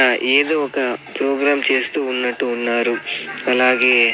ఏదో ఒక ప్రోగ్రాం చేస్తూ ఉన్నట్టు ఉన్నారు అలాగే.